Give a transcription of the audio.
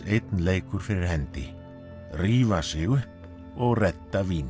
einn leikur fyrir hendi rífa sig upp og redda víni